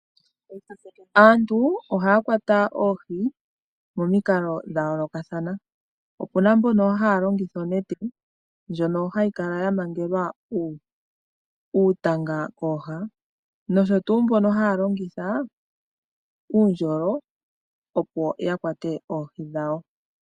Aantu ohaya kwata oohi pomikalo dha yoolokathana. Opu na mbona haya longitha onete ndjono hayi kala ya mangelwa uutanga kooha, nosho tuu mbono haya longitha uundjolo opo ya kwate oohi dhawo.